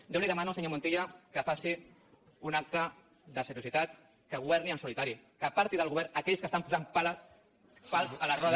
jo li demano senyor montilla que faci una acte de seriositat que governi en solitari que aparti del govern aquells que posen pals a les rodes